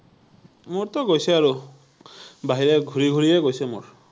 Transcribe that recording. মোৰতো গৈছে আৰু, বাহিৰে ঘূৰি ঘূৰিয়েই গৈছে মোৰ৷